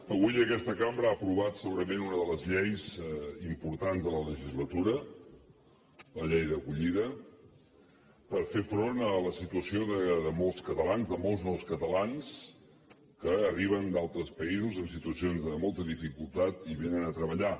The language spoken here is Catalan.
avui aquesta cambra ha aprovat segurament una de les lleis importants de la legislatura la llei d’acollida per fer front a la situació de molts catalans de molts nous catalans que arriben d’altres països en situacions de molta dificultat i vénen a treballar